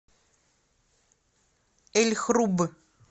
эль хруб